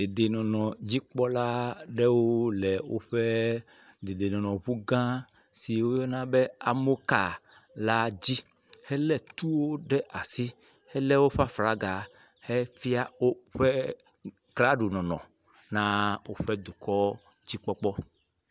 Dedenɔnɔdzikpɔla ɖewo woƒe dedenɔnɔŋu gã si woyɔna be amoka la dzi hele tuwo ɖe asi hele woƒe aflaga hefia woƒe klaɖonɔnɔ na woƒe dukɔ.